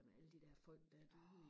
med alle de der folk der er døde